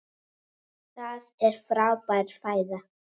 Það er frábær fæða.